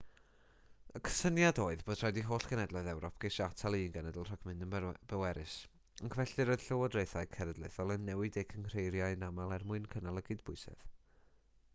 y cysyniad oedd bod rhaid i holl genhedloedd ewrop geisio atal un genedl rhag mynd yn bwerus ac felly roedd lywodraethau cenedlaethol yn newid eu cynghreiriau'n aml er mwyn cynnal y cydbwysedd